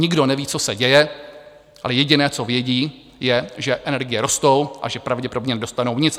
Nikdo neví, co se děje, ale jediné, co vědí, je, že energie rostou a že pravděpodobně nedostanou nic.